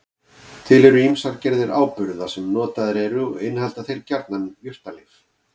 Til eru ýmsar gerðir áburða sem notaðir eru og innihalda þeir gjarnan jurtalyf.